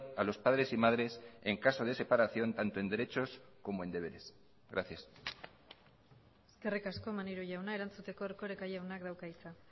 a los padres y madres en caso de separación tanto en derechos como en deberes gracias eskerrik asko maneiro jauna erantzuteko erkoreka jaunak dauka hitza